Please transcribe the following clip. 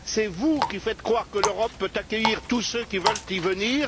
c'est vous qui faites croire que l'Europe peut accueillir tous ceux qui veulent y venir